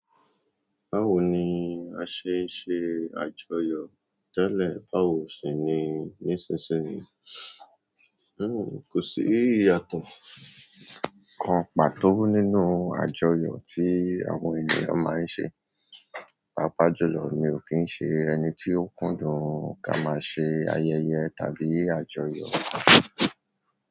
Báwo ni a ṣe n ṣe àjọyọ̀ tẹ́lẹ̀ báwo sì ni nísinsìnyí? Kò sí ìyàtọ̀ kan pàtó nínú àjọyọ̀ tí àwọn ènìyàn máa ń ṣe. Pápa jùlọ, mi ò kí ń ṣe ẹni tí ó kúndùn ká máa ṣe ayẹyẹ tàbí àjọyọ̀.